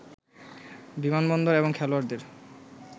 বিমানবন্দর এবং খেলোয়াড়দের